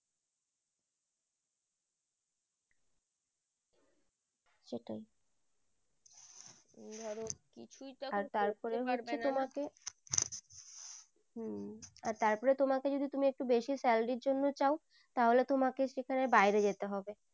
আর তারপরে তোমাকে যদি তুমি একটু বেশি salary জন্যে চাও তাহলে তোমাকে সেখানে বাইরে যেতে হবে।